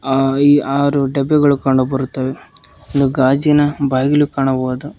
ಆರು ಡಬ್ಬಿಗಳು ಕಂಡುಬರುತ್ತವೆ ಒಂದು ಗಾಜಿನ ಬಾಗಿಲು ಕಾಣಬಹುದು.